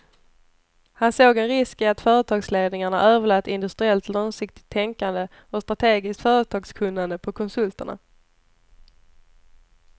Han såg en risk i att företagsledningarna överlät industriellt långsiktigt tänkande och strategiskt företagskunnande på konsulterna.